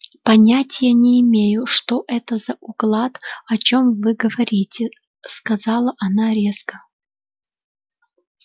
понятия не имею что это за уклад о чем вы говорите сказала она резко